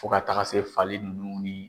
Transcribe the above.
Fo ka taga se fali ninnu ni